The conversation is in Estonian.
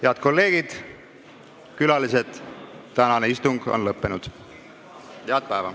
Head kolleegid ja külalised, tänane istung on lõppenud.